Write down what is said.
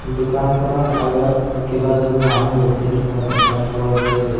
দোকানখনৰ আগত কেইবাজনো মানুহ ৰখি থকা দেখা পোৱা গৈছে।